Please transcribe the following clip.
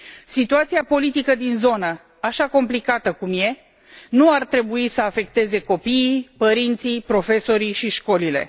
Situația politică din zonă, așa complicată cum e, nu ar trebui să afecteze copiii, părinții, profesorii și școlile.